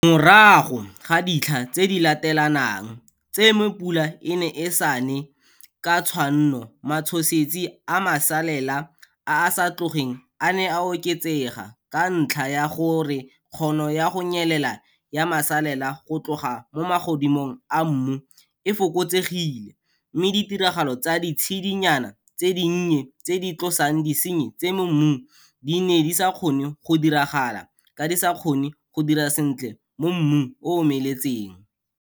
Morago ga ditlha tse di latelanang tse mo pula e neng e sa ne ka tshwanno matshosetsi a masalela a a sa tlogeng a ne a oketsega ka ntlha ya gore kgono ya go nyelela ya masalela go tloga mo magodimong a mmu e fokotsegile mme ditiragalo tsa ditshedinyana tse dinnye tse di tlosang disenyi tse mo mmung di ne di sa kgone go diragala ka di sa kgone go dira sentle mo mmung o o omeletseng.